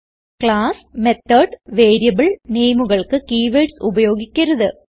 class method variable നെയിമുകൾക്ക് keywords ഉപയോഗിക്കരുത്